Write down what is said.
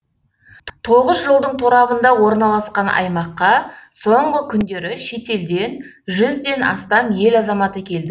тоғыз жолдың торабында орналасқан аймаққа соңғы күндері шетелден жүзден астам ел азаматы келді